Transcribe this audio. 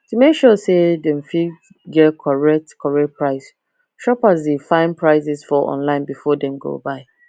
to make sure say dem fit get correct correct price shoppers dey find prices for online before dem go buy